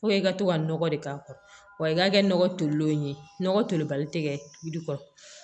i ka to ka nɔgɔ de k'a kɔrɔ wa i ka kɛ nɔgɔ tolilenw ye nɔgɔ tolibali te kɛ jiri kɔnɔ